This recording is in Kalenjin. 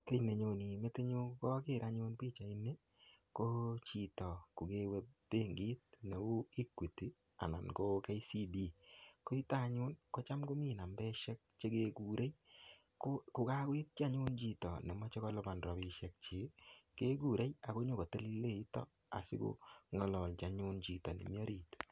Kiy nenyone metit nyu koaker anyun pichait ni, ko chito kokewe benkit neuu Equity, anan ko KCB. Ko yutok anyun, kocham komii nambeshek che kekure. Ko-kokakoitchi anyun chito nemache kolipan rabsiek chik, kekure ako nyikotelele yutok, asikong'alalchi anyun chito nemii orit.